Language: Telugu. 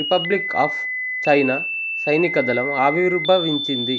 రిపబ్లిక్ ఆఫ్ చైనా సైనికదళం ఆవిర్భవించింది